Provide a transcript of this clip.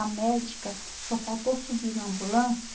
A médica só faltou subir na ambulância